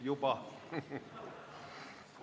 Istungi lõpp kell 19.04.